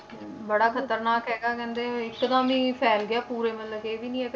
ਬੜਾ ਖ਼ਤਰਨਾਕ ਹੈਗਾ ਕਹਿੰਦੇ ਇੱਕਦਮ ਹੀ ਫੈਲ ਗਿਆ ਪੂਰੇ ਮਤਲਬ ਕਿ ਇਹ ਵੀ ਨੀ ਹੈ